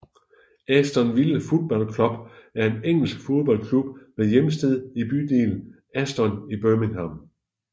Aston Villa Football Club er en engelsk fodboldklub med hjemsted i bydelen Aston i Birmingham